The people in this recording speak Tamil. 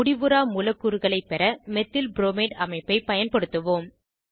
முடிவுறா மூலக்கூறுகளை பெற மெத்தில்ப்ரோமைட் அமைப்பை பயன்படுத்துவோம்